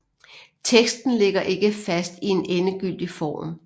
Teksten ligger ikke fast i en endegyldig form